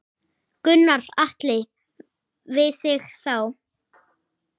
Gunnar Atli: Við þig þá?